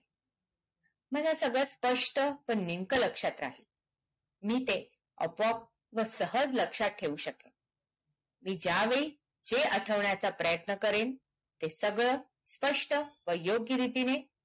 मला सगळं स्पस्ट आणि नेमका लक्ष्यात राहील मी ते आपोआप व सहज लक्ष्यात ठेऊ शकेन मी ज्या वेळी हे आठवण्याचे प्रयत्न करेन ते सगळं स्पस्ट व योग्य रीतीने